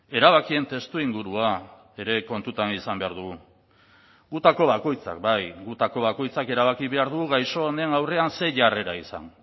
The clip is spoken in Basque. erabakien testuingurua ere kontutan izan behar dugu gutako bakoitzak bai gutako bakoitzak erabaki behar du gaixo honen aurrean zein jarrera izan